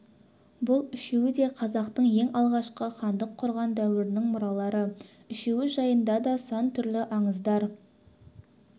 бұл үшеуі де қазақтың ең алғашқы хандық құрған дәуірінің мұралары үшеуі жайында да сан түрлі аңыздар